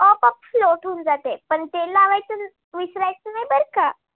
आपोआप float होऊन जाते पण तेल लावायचं विसरायचं नाही बर का?